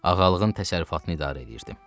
Ağalığın təsərrüfatını idarə eləyirdim.”